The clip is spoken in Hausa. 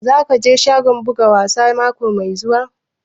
Za ku je shagon buga wasa mako mai zuwa?